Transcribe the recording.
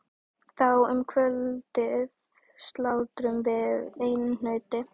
Þá um kvöldið slátruðum við einu nauti.